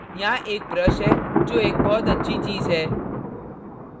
यहाँ एक brush है जो एक बहुत अच्छी चीज़ है